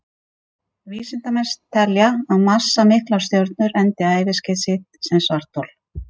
Vísindamenn telja að massamiklar stjörnur endi æviskeið sitt sem svarthol.